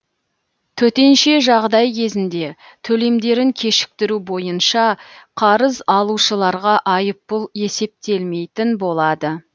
төтенше жағдай кезінде төлемдерін кешіктіру бойынша қарыз алушыларға айыппұл есептелмейтін болады